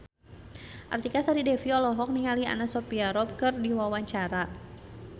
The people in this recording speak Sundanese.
Artika Sari Devi olohok ningali Anna Sophia Robb keur diwawancara